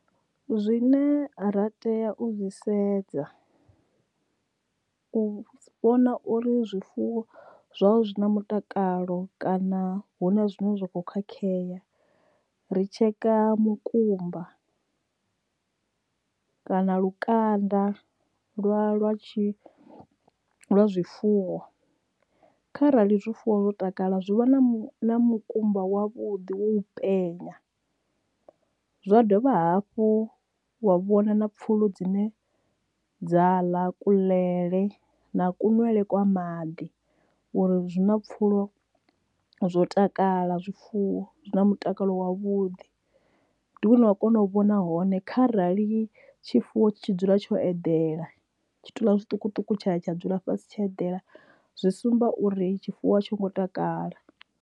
Zwine ra tea u zwi sedza u vhona uri zwifuwo zwawe zwi na mutakalo kana hu na zwine zwa kho khakhea ri tsheka mukumba kana lukanda lwa lwa tshi lwa zwifuwo kharali zwifuwo zwo takala zwi vha na mukumba wa vhuḓi wo u penya zwa dovha hafhu wa vhona na pfulo dzine dza ḽa kuḽele na kunwele kwa maḓi uri zwi na pfulo zwo takala zwifuwo zwi na mutakalo wa vhuḓi ndi hune wa kona u vhona hone kharali tshifuwo tshi tshi dzula tsho eḓela tshitalula zwiṱukuṱuku tsha ḽa tsha dzula fhasi tsha eḓela zwi sumba uri tshifuwo a tsho ngo takala.